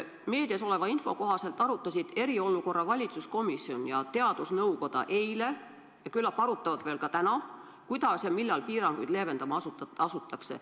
Meedias oleva info kohaselt arutasid eriolukorra valitsuskomisjon ja teadusnõukoda eile ja küllap arutavad veel ka täna, kuidas ja millal piiranguid leevendama asutakse.